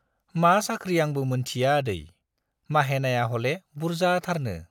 मा साख्रि आंबो मोनथिया आदै, माहेनाया हले बुर्जाथारनो।